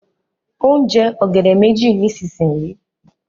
o n je ògèdè méjì nísìsiyìí.